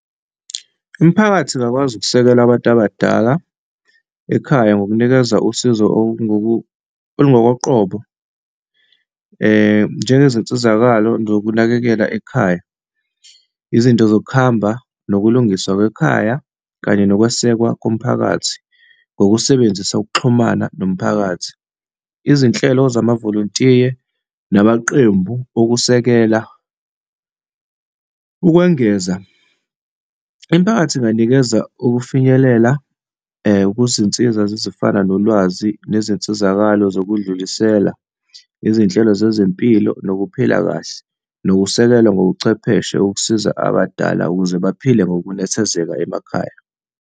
Imiphakathi ingakwazi ukusekela abantu abadala ekhaya ngokunikeza usizo olungokoqobo, njengezinsizakalo zokunakekela ekhaya, izinto zokuhamba, nokulungiswa kwekhaya, kanye nokwesekwa komphakathi, ngokusebenzisa ukuxhumana nomphakathi. Izinhlelo zamavolontiya namaqembu okusekela ukwengeza, imiphakathi inganikezwa kufinyelela kuzinsiza ezifana nolwazi nezinsizakalo zokudlulisela, izinhlelo zezempilo nokuphila kahle, nokusekelwa ngobuchwepheshe ukusiza abadala ukuze baphile ngokunethezeka emakhaya.